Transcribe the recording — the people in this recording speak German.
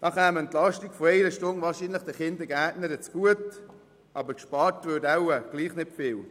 Die Entlastung von einer Stunde käme den Kindergärtnerinnen wahrscheinlich zugute, aber gespart würde vermutlich trotzdem nicht viel.